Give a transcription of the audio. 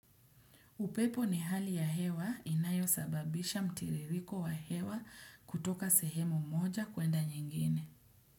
Upepo ni hali ya hewa inayo sababisha mtiririko wa hewa kutoka sehemu moja kuenda nyingine.